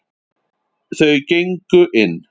Þau gengu inn.